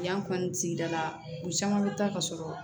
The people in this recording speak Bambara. Yan fan sigida la u caman bɛ taa ka sɔrɔ